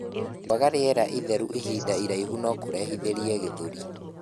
Kwaga rĩera itheru ihinda iraihu nokurehithirie gĩthũri